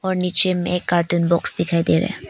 नीचे में एक कार्टून बॉक्स दिखाई दे रहा है।